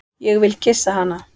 Ég vil kyssa hana.